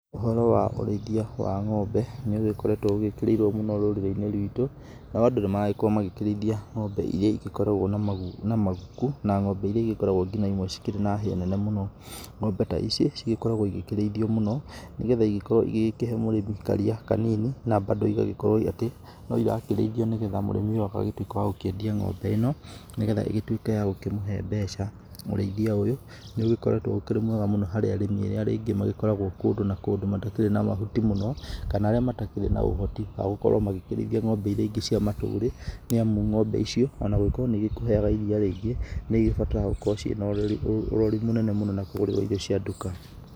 Ũhoro wa ũrĩithia wa ng'ombe nĩ ũgĩkoretwo ũgĩkĩrĩirwo mũno rũrĩri-inĩ ruitũ, nao andũ nĩ maragĩkorwo magĩkĩrĩithia ng'ombe iria igĩkoragwo na maguku na ng'ombe iria igĩkoragwo ngina imwe cikĩrĩ na hĩa nene mũno. Ng'ombe ta ici cigĩkoragwo igĩkĩrĩithio mũno nĩ getha igĩkorwo igĩgĩkĩhe mũrĩmi karia kanini na bado igagĩkorwo atĩ no irakĩrĩithio nĩ getha mũrĩmi ũyũ agagĩtuĩke wa gũkĩendia ng'ombe ĩno nĩ getha ĩgĩtuĩke ya gũkĩmũhe mbeca. ũrĩithia ũyũ nĩ ũgĩkoretwo ũkĩrĩ mwega mũno harĩ arĩmi arĩa rĩngĩ magĩkoragwo kũndũ na kũndũ matakĩrĩ na mahuti mũno, kana arĩa matakĩrĩ na ũhoti wa gũkorwo makĩrĩitha ng'ombe iria ingĩ cia matũrĩ. Nĩ amu ng'ombe icio ona gũgĩkorwo nĩ ikũhega iria rĩingĩ, nĩ igĩbataraga gũkorwo ciĩna ũrori mũnene mũno na kũgũrĩrwo irio cia nduka.